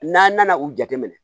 N'an nana u jateminɛ